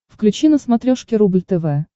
включи на смотрешке рубль тв